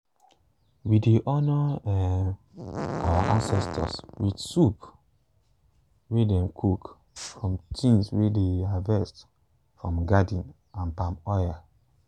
we dey honor um our ancestors with soup wey dem cook from tins way dey harvest from garden and palm oil.